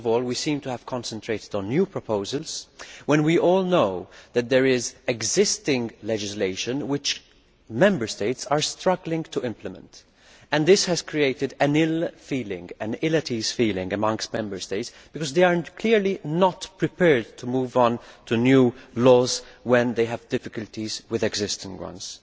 First of all, we seem to have concentrated on new proposals when we all know that there is existing legislation which Member States are struggling to implement and this has created an ill at ease feeling amongst Member States, because they are clearly not prepared to move on to new laws when they have difficulties with existing ones.